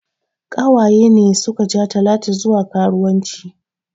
Ƙawaye ne suka ja talatu zuwa karuwanci